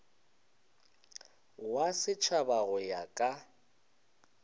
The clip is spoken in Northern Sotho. wa setšhaba go ya ka